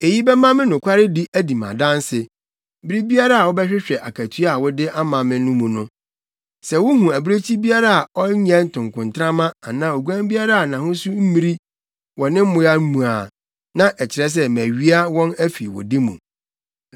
Eyi bɛma me nokwaredi adi me adanse, bere biara a wobɛhwehwɛ akatua a wode ama me no mu no. Sɛ wuhu abirekyi biara a ɔnyɛ ntokontrama anaa oguan biara a nʼahosu mmiri wɔ me mmoa no mu a, na ɛkyerɛ sɛ mawia wɔn afi wo de mu.”